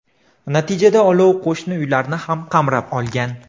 Natijada olov qo‘shni uylarni ham qamrab olgan.